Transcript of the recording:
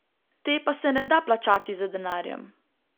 Te pa se ne da plačati z denarjem.